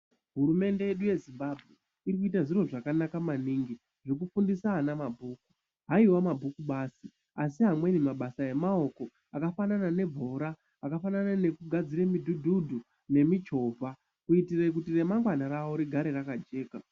Hurumende yedu yeZimbabwe iri kuita zviro zvakanaka manhingi zvokufundisa ana mabhuku. Haiwa mabhuku badzi, asi amweni mabasa emaoko akafanana nebhora, akafanana nokugadzire midhudhudhu nemichovha kuitire kuti remangwana ravo rigare rakajeka.